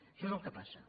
això és el que passa